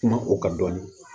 Kuma o ka dɔn